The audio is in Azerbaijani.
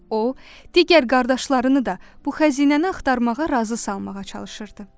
O, digər qardaşlarını da bu xəzinəni axtarmağa razı salmağa çalışırdı.